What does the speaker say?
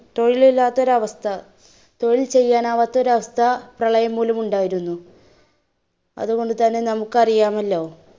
തൊഴിൽ ഇല്ലാത്തൊരു അവസ്ഥ, തൊഴിൽ ചെയാനാവാത്ത ഒരു അവസ്ഥ പ്രളയം മൂലം ഉണ്ടായിരുന്നു, അതുകൊണ്ട് തന്നെ നമ്മുക്ക് അറിയാമല്ലോ